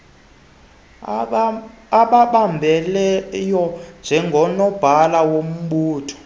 obambeleyo njengonobhala wombutho